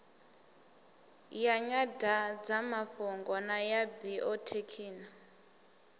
ya nyandadzamafhungo na ya biothekhino